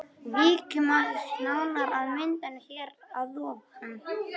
Víkjum aðeins nánar að myndunum hér að ofan.